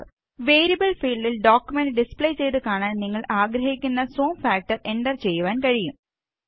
variable ഫീല്ഡില് document display ചെയ്ത് കാണാന് നിങ്ങള് ആഗ്രഹിക്കുന്ന സൂം ഫാക്ടര് എന്റര് ചെയ്യുവാന് കഴിയും